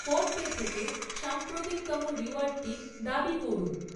PhonePe থেকে সাম্প্রতিকতম রিওয়ার্ডটি দাবি করুন।